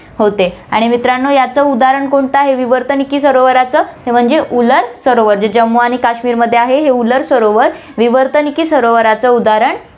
होते आणि मित्रांनो, याच उदाहरण कोणतं आहे, विवर्तनिकी सरोवरचं म्हणजे उलर सरोवर, जे जम्मू आणि काश्मीरमध्ये आहे हे उलर सरोवर, विवर्तनिकी सरोवरच उदाहरण होते